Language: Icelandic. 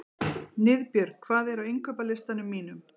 Niðbjörg, hvað er á innkaupalistanum mínum?